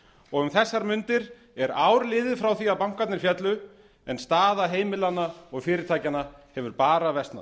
og um þessar mundir er ár liðið frá því að bankarnir féllu en staða heimilanna og fyrirtækjanna hefur bara versnað